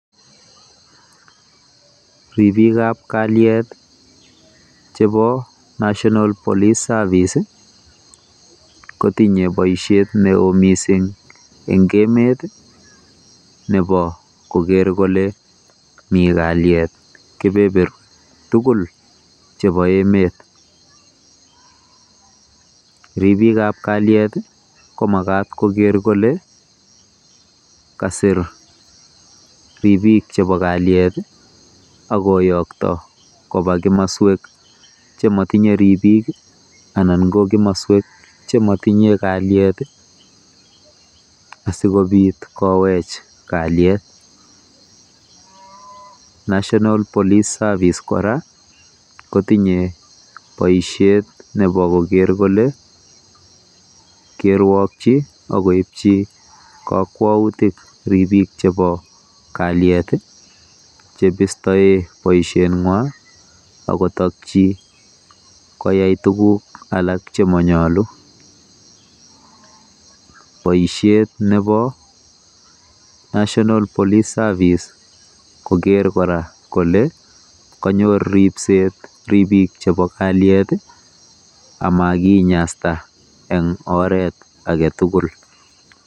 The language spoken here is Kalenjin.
Ribiikab kalyet chebo National Police Service kotinye boisiet neo mising eng emet nebo koker kole mi kalyet kebeberwek tugul chebo emet. Ribiikab kalyet komagat koger kole kasir ribiik chebo kalyet agoyokto koba kimaswek chematinye ribiikanan ko kumaswek chematinye kalyet asikopit kowech kalyet. National Police Service kora kotinye boisiet nebokoker tugul keruokyi ak koipchi kakwautik ribiik chebo kalyet chebistoe boisingwa ak kotakchi koyai tuguk alak che manyalu. Boisiet nebo National Police Service koger kora kole kanyor ripset ribiik chebo kalyet amakinyasta eng oret age tugul.